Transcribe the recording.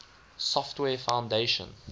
software foundation